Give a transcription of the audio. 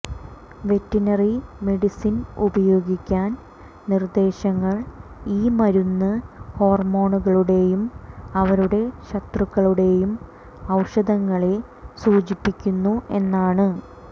veterinary medicine ഉപയോഗിക്കാൻ നിർദ്ദേശങ്ങൾ ഈ മരുന്ന് ഹോർമോണുകളുടെയും അവരുടെ ശത്രുക്കളുടെയും ഔഷധങ്ങളെ സൂചിപ്പിക്കുന്നു എന്നാണ്